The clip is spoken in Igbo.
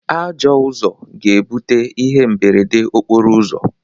Ajọọ Ụzọ ga-ebute ihe mberede okporo ụzọ.